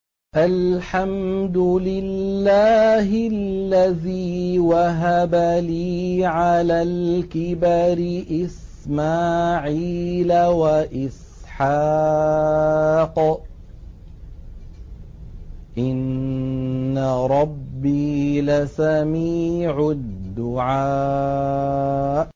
الْحَمْدُ لِلَّهِ الَّذِي وَهَبَ لِي عَلَى الْكِبَرِ إِسْمَاعِيلَ وَإِسْحَاقَ ۚ إِنَّ رَبِّي لَسَمِيعُ الدُّعَاءِ